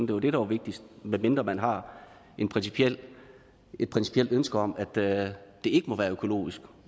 det var det der var vigtigst medmindre man har et principielt ønske om at det det ikke må være økologisk